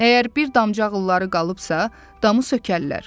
Əgər bir damcağılları qalıbsa, damı sökərlər.